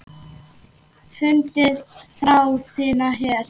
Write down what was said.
Fundið þrá þína hér.